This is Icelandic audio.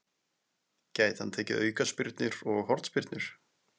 Gæti hann tekið aukaspyrnur og hornspyrnur?